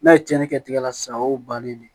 N'a ye cɛnni kɛ tigɛ la sisan o y'o bannen ye